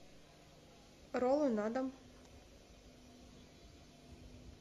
роллы на дом